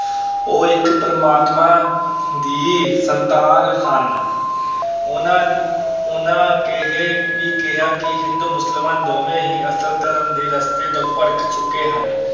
ਉਹ ਇੱਕ ਪਰਮਾਤਮਾ ਦੀ ਸੰਤਾਨ ਹਨ ਉਹਨਾਂ ਉਹਨਾਂ ਇਹ ਵੀ ਕਿਹਾ ਕਿ ਹਿੰਦੂ, ਮੁਸਲਮਾਨ ਦੋਵੇਂ ਹੀ ਅਸਲ ਧਰਮ ਦੇ ਰਸਤੇ ਤੋਂ ਭਟਕ ਚੁੱਕੇ ਹਨ।